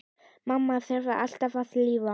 Mamma þráði alltaf að lifa.